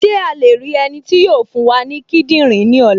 Ṣé a lè rí ẹni tí yóò fún wa ní kíndìnrín ní ọ̀la?